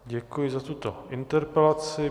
Děkuji za tuto interpelaci.